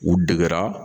U degera